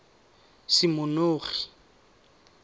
semonogi